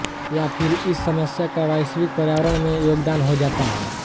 या फ़िर इस समस्या का वैश्विक पर्यावरण में योगदान हो जाता है